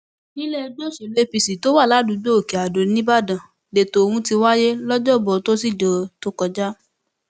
nílẹẹgbẹ òsèlú apc tó wà ládùúgbò òkèadó nìbàdàn lẹtọ ohun ti wáyé lọjọbọ tosidee tó kọjá